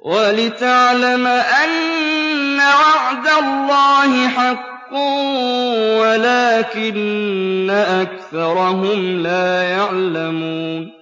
وَلِتَعْلَمَ أَنَّ وَعْدَ اللَّهِ حَقٌّ وَلَٰكِنَّ أَكْثَرَهُمْ لَا يَعْلَمُونَ